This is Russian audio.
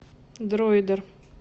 дроидер